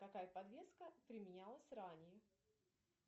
какая подвеска применялась ранее